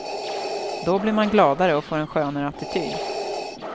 Då blir man gladare och får en skönare attityd.